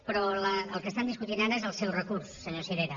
però el que estan discutint ara és el seu recurs senyor sirera